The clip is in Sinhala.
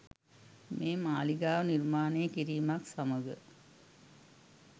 මේ මාලිගාව නිර්මාණය කිරීමත් සමඟ